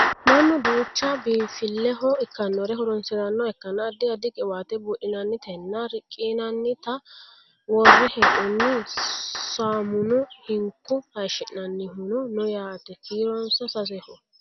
Mannu duucha biinfilleho ikkannore horonsirannoha ikkanna addi addi qiwaatta buudhinannitanna riqqinannita worre hee'noonni saamuno hinko hayeeshshi'nannihuno no yaate kiironsa saseho